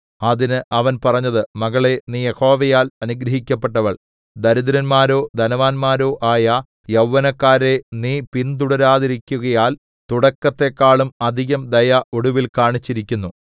അതിന് അവൻ പറഞ്ഞത് മകളേ നീ യഹോവയാൽ അനുഗ്രഹിക്കപ്പെട്ടവൾ ദരിദ്രന്മാരോ ധനവാന്മാരോ ആയ യൗവനക്കാരെ നീ പിന്തുടരാതിരിക്കുകയാൽ തുടക്കത്തേക്കാളും അധികം ദയ ഒടുവിൽ കാണിച്ചിരിക്കുന്നു